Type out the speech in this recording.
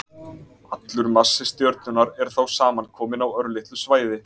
Allur massi stjörnunnar er þá samankominn á örlitlu svæði.